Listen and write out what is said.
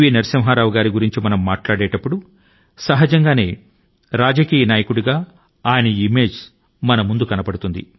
నరసింహారావు గారి గురించి మనం మాట్లాడేటప్పుడు సహజంగానే మనకు కనిపించే ఆయన చిత్రం ఒక రాజకీయ నాయకుడి ది